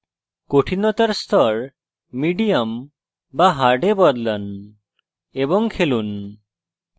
কঠিনতার স্তর medium বা hard এ বদলান এবং খেলুন